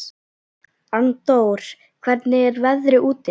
Arndór, hvernig er veðrið úti?